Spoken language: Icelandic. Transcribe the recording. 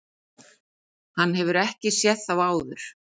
Hann hefur ekki séð þá áður.